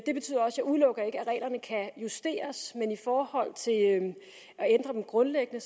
reglerne kan justeres men i forhold til at ændre dem grundlæggende